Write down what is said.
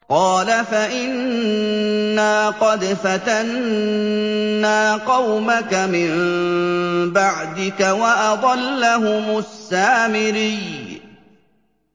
قَالَ فَإِنَّا قَدْ فَتَنَّا قَوْمَكَ مِن بَعْدِكَ وَأَضَلَّهُمُ السَّامِرِيُّ